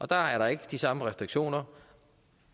der er der ikke de samme restriktioner